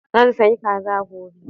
Zan sayi kaza gobe.